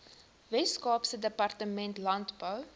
weskaapse departement landbou